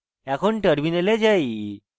এখন terminal যাই